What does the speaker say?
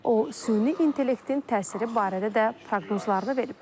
O süni intellektin təsiri barədə də proqnozlarını verib.